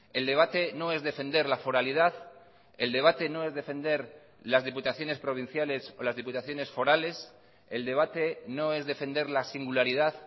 el debate no es defender la foralidad el debate no es defender las diputaciones provinciales o las diputaciones forales el debate no es defender la singularidad